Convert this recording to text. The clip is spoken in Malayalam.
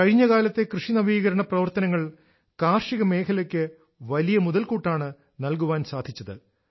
കഴിഞ്ഞ കാലത്തെ കൃഷി നവീകരണ പ്രവർത്തനങ്ങൾ കാർഷിക മേഘലക്ക് വലിയ മുതൽക്കൂട്ടാണ് നൽകാൻ സാധിച്ചത്